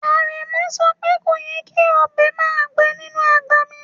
Aremu sope koyè́ kí ọbẹ màá gbẹ̀ inú agbá mí